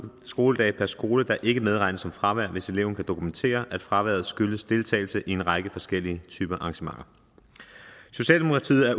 skoledage per skoleår der ikke medregnes som fravær hvis eleven kan dokumentere at fraværet skyldes deltagelse i en række forskellige type arrangementer socialdemokratiet er